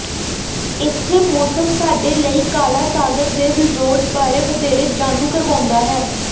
ਇੱਥੇ ਮੌਸਮ ਸਾਡੇ ਲਈ ਕਾਲਾ ਸਾਗਰ ਦੇ ਰਿਜ਼ੋਰਟ ਬਾਰੇ ਵਧੇਰੇ ਜਾਣੂ ਕਰਵਾਉਂਦਾ ਹੈ